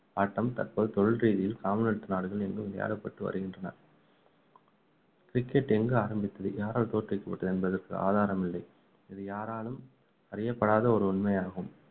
ஆட்டம் தற்போது தொழில்ரீதியில் commonwealth நாடுகள் எங்கும் விளையாடப்பட்டு வருகின்றன cricket எங்கு ஆரம்பிக்கப்பட்டது யாரால் தோற்றுவிக்கப்பட்டது என்பதற்கு ஆதாரம் இல்லை இது யாராலும் அறியப்படாத ஒரு உண்மை ஆகும்